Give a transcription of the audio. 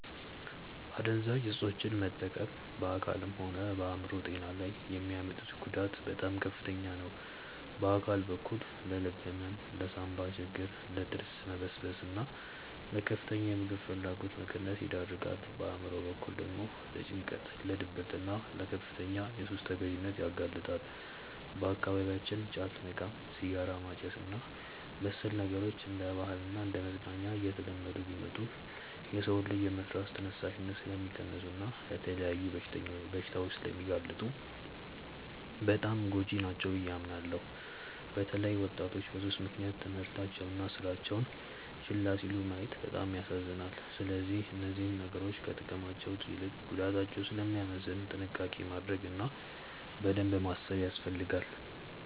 አደንዛዥ እፆችን መጠቀም በአካልም ሆነ በአእምሮ ጤና ላይ የሚያመጡት ጉዳት በጣም ከፍተኛ ነው። በአካል በኩል ለልብ ህመም፣ ለሳንባ ችግር፣ ለጥርስ መበስበስና ለከፍተኛ የምግብ ፍላጎት መቀነስ ይዳርጋል። በአእምሮ በኩል ደግሞ ለጭንቀት፣ ለድብርትና ለከፍተኛ የሱስ ተገዢነት ያጋልጣሉ። በአካባቢያችን ጫት መቃም፣ ሲጋራ ማጨስና መሰል ነገሮች እንደ ባህልና እንደ መዝናኛ እየተለመዱ ቢመጡም፣ የሰውን ልጅ የመስራት ተነሳሽነት ስለሚቀንሱና ለተለያዩ በሽታዎች ስለሚያጋልጡ በጣም ጎጂ ናቸው ብዬ አምናለሁ። በተለይ ወጣቶች በሱስ ምክንያት ትምህርታቸውንና ስራቸውን ችላ ሲሉ ማየት በጣም ያሳዝናል። ስለዚህ እነዚህ ነገሮች ከጥቅማቸው ይልቅ ጉዳታቸው ስለሚያመዝን ጥንቃቄ ማድረግ እና በደንብ ማሰብ ያስፈልጋል።